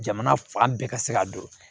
Jamana fan bɛɛ ka se ka don